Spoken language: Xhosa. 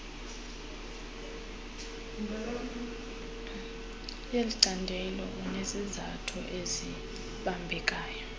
yelicandelo unezizathu ezibambekayo